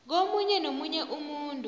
komunye nomunye umuntu